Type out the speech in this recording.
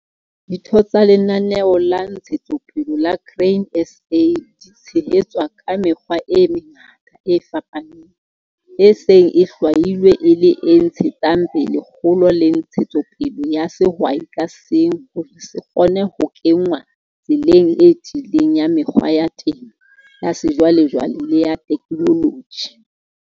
Ditho tsa lenaneo la Ntshetsopele la Grain SA di tshehetswa ka mekgwa e mengata e fapaneng, e seng e hlwailwe e le e ntshetsang pele kgolo le ntshetsopele ya sehwai ka seng hore se kgone ho kenngwa tseleng e tiileng ya mekgwa ya temo ya sejwalejwale le ya ditheknoloji.